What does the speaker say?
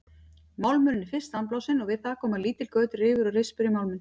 Málmurinn er fyrst sandblásinn og við það koma lítil göt, rifur og rispur í málminn.